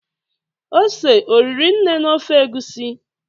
ose oriri nee na ofe egusi?